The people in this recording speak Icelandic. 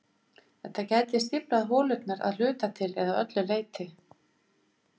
Þetta gæti stíflað holurnar að hluta til eða öllu leyti.